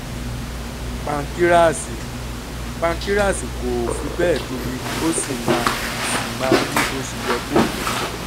pánkíráàsì: pánkíráàsì kò fi bẹ́ẹ̀ tóbi ó sì máa sì máa ń rí bó ṣe yẹ kó rí